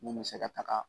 Mun bɛ se ka taga